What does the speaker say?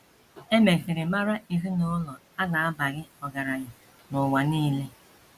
E mesịrị mara ezinụlọ a na - abaghị ọgaranya n’ụwa nile.